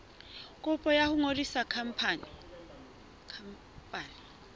kopo ya ho ngodisa khampani